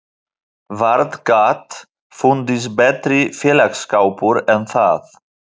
Vart gat fundist betri félagsskapur en það.